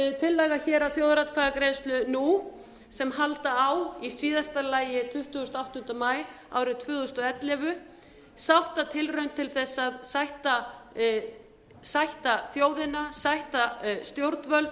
tillaga hér um þjóðaratkvæðagreiðslu nú sem halda á í síðasta lagi tuttugasta og áttunda maí árið tvö þúsund og ellefu sáttatilraun til þess að sætta þjóðina sætta stjórnvöld